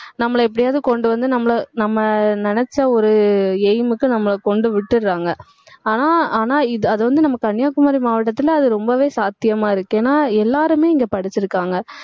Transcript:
நம்மள எப்படியாவது கொண்டு வந்து நம்மள நம்ம நினைச்ச ஒரு aim க்கு நம்மளை கொண்டு விட்டுடறாங்க. ஆனா ஆனா இது அது வந்து நம்ம கன்னியாகுமரி மாவட்டத்துல அது ரொம்பவே சாத்தியமா இருக்கு ஏன்னா எல்லாருமே இங்க படிச்சிருக்காங்க